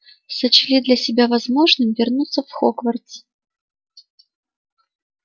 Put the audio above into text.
сочли для себя возможным вернуться в хогвартс